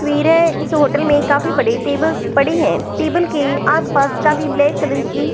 वीर है इस होटल में काफी बड़े टेबल्स पड़े हैं टेबल के आसपास काफी ब्लैक कलर की--